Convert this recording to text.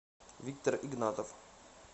виктор игнатов